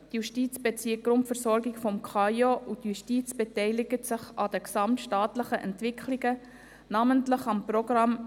Die Justiz bezieht die Grundversorgung vom KAIO, und die Justiz beteiligt sich an den gesamtstaatlichen Entwicklungen, namentlich am Programm